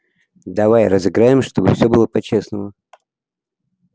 давай разыграем чтобы всё было по-честному